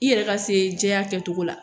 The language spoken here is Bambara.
I yɛrɛ ka se jɛya kɛ cogo la